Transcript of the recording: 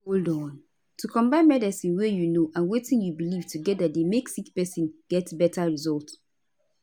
hold on - to combine medicine wey u know and wetin u belief together dey make sick pesin get beta result